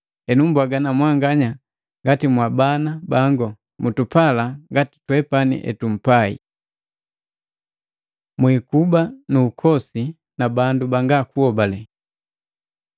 Henu mbwaga na mwanganya ngati mwabana bangu, mutupala ngati twepani etumpai. Mwikuba nu ukosi na bandu banga kuhobale